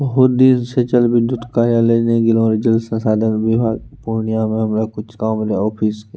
बहुत दिन से जल विद्युत कार्यालय नहीं गएल हो जल संसाधन विभाग पूर्णिया में हमरा कुछ काम रहे ऑफिस के।